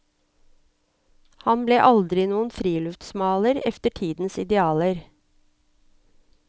Han ble aldri noen friluftsmaler etter tidens idealer.